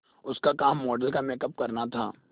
उसका काम मॉडल का मेकअप करना था